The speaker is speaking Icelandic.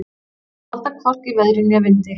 Að halda hvorki veðri né vindi